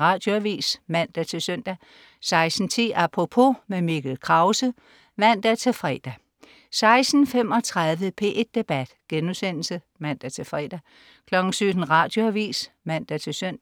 Radioavis (man-søn) 16.10 Apropos. Mikkel Krause (man-fre) 16.35 P1 Debat* (man-fre) 17.00 Radioavis (man-søn)